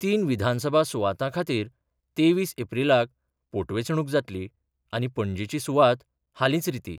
तीन विधानसभा सुवातां खातीर तेवीस एप्रीलाक पोटवेंचणूक जातली आनी पणजीची सुवात हालींच रिती